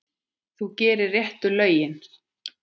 Þú gerir réttu lögin.